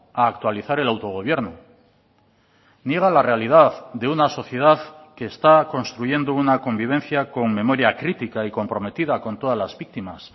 a actualizar el autogobierno niega la realidad de una sociedad que está construyendo una convivencia con memoria crítica y comprometida con todas las víctimas